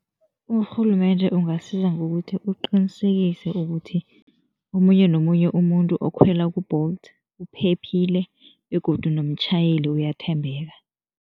Urhulumende ungasiza ngokuthi uqinisekise ukuthi omunye nomunye umuntu okhwela ku-Bolt uphephile begodu nomtjhayeli uyathembeka.